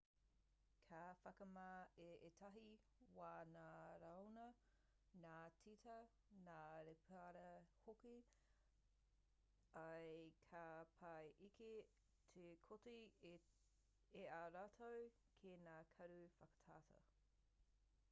ka whakamā i ētahi wā ngā raiona ngā tīta ngā rēpara hoki ā ka pai ake tō kite i a rātou ki ngā karu whakatata